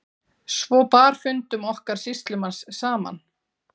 Svo bar fundum okkar sýslumanns saman.